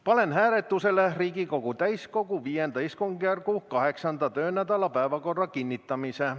Panen hääletusele Riigikogu täiskogu V istungjärgu 8. töönädala päevakorra kinnitamise.